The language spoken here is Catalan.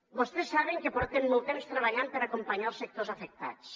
vostès saben que portem molt temps treballant per acompanyar els sectors afectats